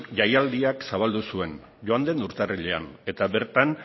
jaialdiak zabaldu zuen joan den urtarrilean eta bertan